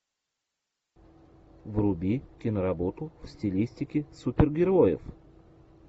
вруби киноработу в стилистике супергероев